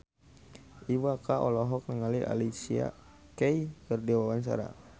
Iwa K olohok ningali Alicia Keys keur diwawancara